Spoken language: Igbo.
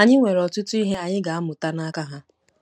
Anyị nwere ọtụtụ ihe anyị ga-amụta n’aka ha.